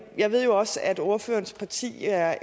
jeg ved jo også at ordførerens parti er